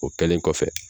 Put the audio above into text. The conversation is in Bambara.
O kɛlen kɔfɛ